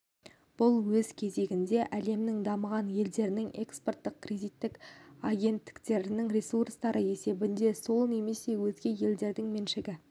бұл өз кезегінде әлемнің дамыған елдерінің экспорттық-кредиттік агенттіктерінің ресурстары есебінен сол немесе өзге елдердің меншігі